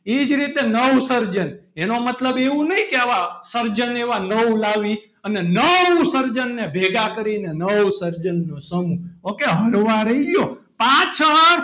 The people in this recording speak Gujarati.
એ જ રીતે નવસર્જન એનો મતલબ એવો નહીં કે આવા સર્જન એવા નવ લાવી અને નવસર્જન ને ભેગા કરીને નવસર્જનનો સમૂહ ok હળવા રહીયો પાછળ,